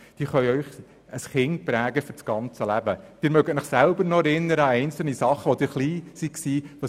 Sie können sich sicher noch an einzelne Handlungen von Lehrpersonen erinnern, als Sie noch klein waren.